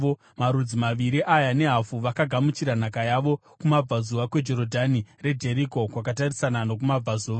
Marudzi maviri aya nehafu vakagamuchira nhaka yavo kumabvazuva kweJorodhani reJeriko, kwakatarisana nokumabudazuva.”